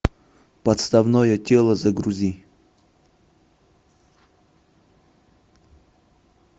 подставное тело загрузи